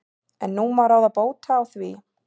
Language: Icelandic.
En nú má ráða bóta á því.